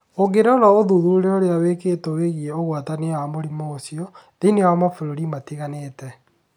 Ũngĩrora ũthuthuria ũrĩa wĩkĩtwo wĩgiĩ ũgwatania wa mũrimũ ũcio. Thĩinĩ wa mabũrũri matiganĩte.